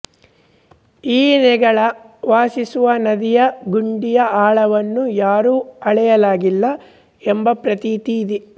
ಈ ನೆಗಳ ವಾಸಿಸುವ ನದಿಯ ಗುಂಡಿಯ ಆಳವನ್ನು ಯಾರೂ ಅಳೆಯಲಾಗಿಲ್ಲ ಎಂಬ ಪ್ರತೀತಿ ಇದೆ